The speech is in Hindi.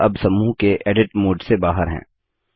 हम अब समूह के एडिट मोड़ से बाहर हैं